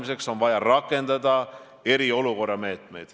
Vastus võib olla ka teine päev negatiivne ja kolmas päev samuti.